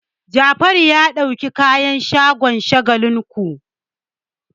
Jafaru ya ɗauki kayan sha a shagon Shagalinku.